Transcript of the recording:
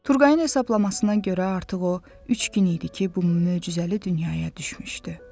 Turqayın hesablamasına görə artıq o üç gün idi ki, bu möcüzəli dünyaya düşmüşdü.